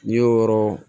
N'i y'o yɔrɔ